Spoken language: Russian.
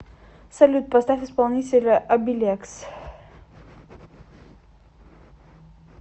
салют поставь исполнителя абилекс